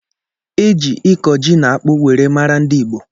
E ji ịkọ ji na akpụ were mara ndị Igbo.